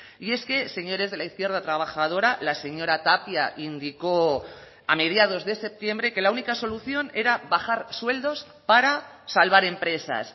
y es que señores de la izquierda trabajadora la señora tapia indicó a mediados de septiembre que la única solución era bajar sueldos para salvar empresas